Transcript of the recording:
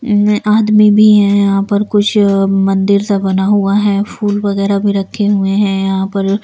आदमी भी है यहां पर कुछ मंदिर सा बना हुआ है फूल वगैरह भी रखे हुए हैं यहां पर।